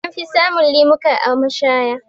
Anfi samun lemuka a mashaya.